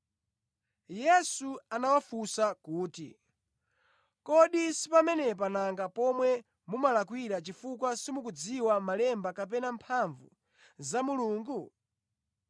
Yesu anawafunsa kuti, “Kodi si pamenepa nanga pomwe mumalakwira chifukwa simukudziwa malemba kapena mphamvu za Mulungu?